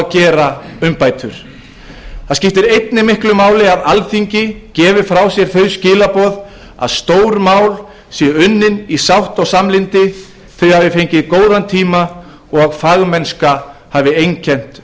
gera umbætur það skiptir einnig miklu máli að alþingi gefi frá sér þau skilaboð að stór mál séu unnin í sátt og samlyndi þau hafi fengið góðan tíma og að fagmennska hafi einkennt